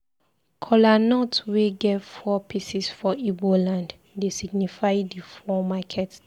Kolanut wey get four pieces for Igbo land dey signify di four market days.